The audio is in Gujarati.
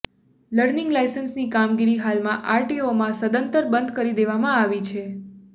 લર્નિંગ લાઇસન્સની કામગીરી હાલમાં આરટીઓમાંં સદંતર બંધ કરી દેવામાં આવી છે